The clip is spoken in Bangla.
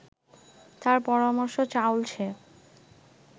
তার পরামর্শ চাউল সে